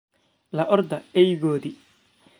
la orda eygoodii.